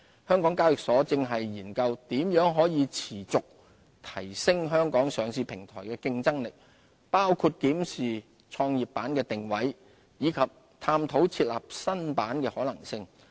香港交易所現正研究如何持續提升香港上市平台的競爭力，包括檢視創業板的定位，以及探討設立新板的可能性。